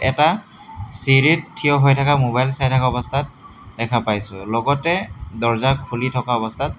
এটা চিৰিত থিয় হৈ থকা মোবাইল চাই থকা অৱস্থাত দেখা পাইছোঁ লগতে দৰ্জা খুলি থকা অৱস্থাত--